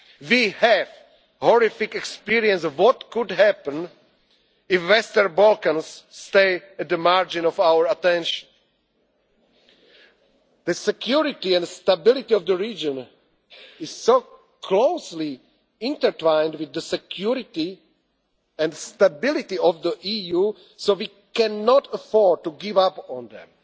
should engage more. We have horrific experience of what could happen if the Western Balkans stay at the margin of our attention. The security and stability of the region is closely intertwined with the security and stability of the EU, so we cannot afford